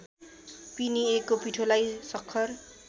पिनिएको पिठोलाई सक्खर